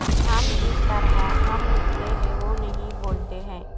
ہم جس طرح ہم لکھتے ہیں وہ نہیں بولتے ہیں